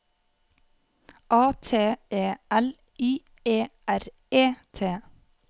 A T E L I E R E T